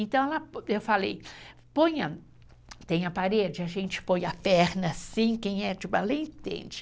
Então, eu falei, põe, tem a parede, a gente põe a perna assim, quem é de ballet entende.